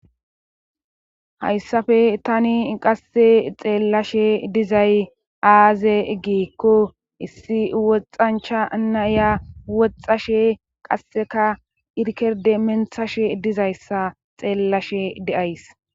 hayssafe tani qasse xeellashe dizay aaze gikko issi woxancha naya woxxashe qasseka irkerde menthashe dizayssa xeellashe deays